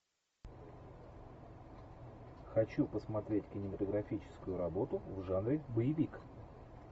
хочу посмотреть кинематографическую работу в жанре боевик